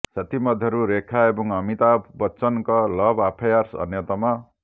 ସେଥିମଧ୍ୟରୁ ରେଖା ଏବଂ ଅମିତାଭ ବଚ୍ଚନଙ୍କ ଲଭ ଆଫେୟାର ଅନ୍ୟତମ